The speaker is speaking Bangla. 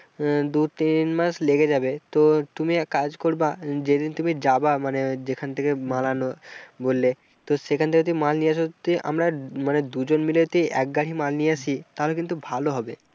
আহ দু-তিন মাস লেগে যাবে তো তুমি এক কাজ করবা যেদিন তুমি যাবা মানে যেখান থেকে মাল আনো বললে তো সেখানে যদি মাল নিয়ে আসো যদি আমরা মানে দুজন মিলে যদি এক গাড়ি মাল নিয়ে আসি তাহলে কিন্তু ভালো হবে।